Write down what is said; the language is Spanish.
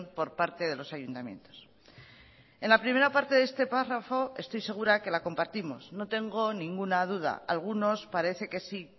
por parte de los ayuntamientos en la primera parte de este párrafo estoy segura que la compartimos no tengo ninguna duda algunos parece que sí